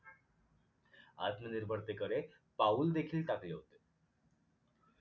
आत्मनिर्भरतेकडे पाऊल देखील टाकले होते